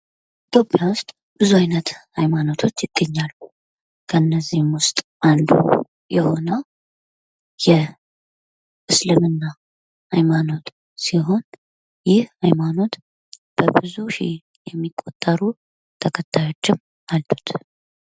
ኢትዮጵያ ዉስጥ ብዙ አይነት ኃይማኖቶች ይገኛሉ። ከእነዚህም ዉስጥ አንዱ የሆነዉ የእስልምና ኃይማኖት ሲሆን ይህ ኃይማኖት በብዙ ሺ የሚቆጠሩ ተከታዮችም አሉት።